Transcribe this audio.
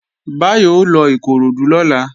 Báyọ̀ ó lọ Ìkoròdú lọ́la